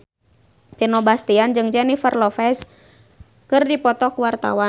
Vino Bastian jeung Jennifer Lopez keur dipoto ku wartawan